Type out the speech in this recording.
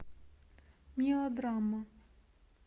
мелодрама